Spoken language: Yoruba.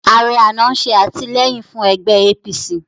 Ààrẹ àná ń ṣe àtìlẹ́yìn fún ẹgbẹ́ APC